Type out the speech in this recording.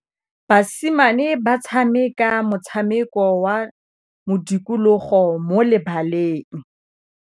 Basimane ba tshameka motshameko wa modikologô mo lebaleng.